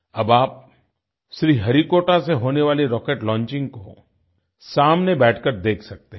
अब आप श्रीहरिकोटा से होने वाले रॉकेट लॉन्चिंग को सामने बैठकर देख सकते हैं